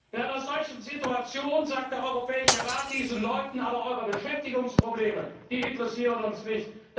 in einer solchen Situation sagt der Europäische Rat diesen Leuten Aber eure Beschäftigungsprobleme, die interessieren uns nicht.